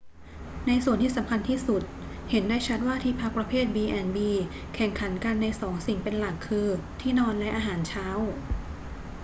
ในส่วนที่สำคัญที่สุด เห็นได้ชัดว่าที่พักประเภท b&b แข่งขันกันในสองสิ่งเป็นหลัก คือ ที่นอนและอาหารเช้า